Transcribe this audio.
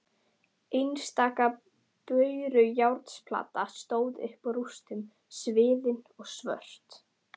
Einstaka bárujárnsplata stóð upp úr rústunum sviðin og svört.